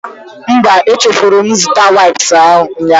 Mba, echefuru m ịzụta waips ụnyaahụ